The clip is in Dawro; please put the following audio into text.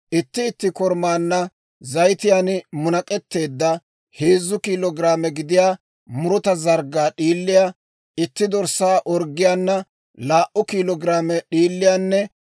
Itti itti korumaanna zayitiyaan munak'etteedda heezzu kiilo giraame gidiyaa muruta zarggaa d'iiliyaa, itti dorssaa orggiyaana laa"u kiilo giraame d'iiliyaanne